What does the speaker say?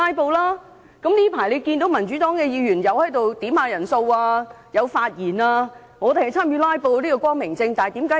近來大家都可看到，民主黨議員也有要求點算人數和發言，參與"拉布"，這是光明正大的。